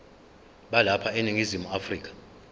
balapha eningizimu afrika